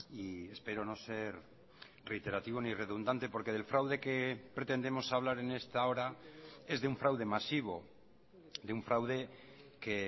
y espero no ser reiterativo ni redundante porque del fraude que pretendemos hablar en esta hora es de un fraude masivo de un fraude que